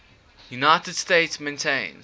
united states maintains